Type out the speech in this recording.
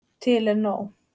Til er nóg.